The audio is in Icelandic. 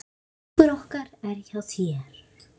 Hugur okkar er hjá þér.